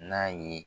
N'a ye